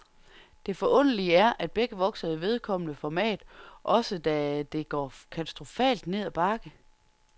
Det forunderlige er, at begge vokser i vedkommende format, også da det går katastrofalt ned ad bakke.